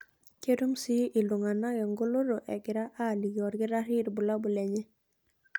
Ketum sii iltung'ana engoloto egira aaliki olkitarri ilbulabul lenye.